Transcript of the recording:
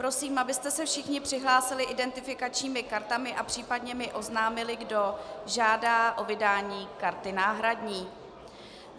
Prosím, abyste se všichni přihlásili identifikačními kartami a případně mi oznámili, kdo žádá o vydání karty náhradní.